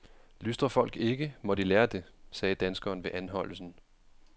Lystrer folk ikke, må de lære det, sagde danskeren ved anholdelsen.